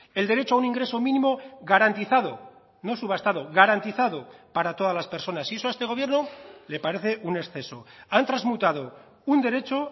el derecho a un ingreso mínimo garantizado no subastado garantizado para todas las personas y eso a este gobierno le parece un exceso han transmutado un derecho